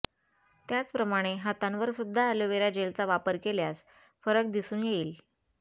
त्याचप्रमाणे हातांवर सुद्धा अलोवेरा जेलचा वापर केल्यास फरक दिसून येईल